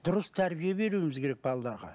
дұрыс тәрбие беруіміз керек балаларға